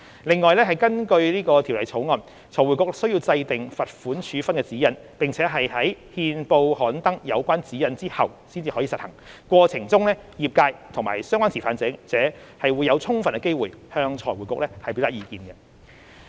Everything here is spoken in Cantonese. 另外，根據《條例草案》，財匯局須制訂罰款處分的指引，並在憲報刊登有關指引後才實行，過程中業界和相關持份者會有充分機會向財匯局表達意見。